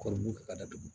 Kɔmɔkili ka datugu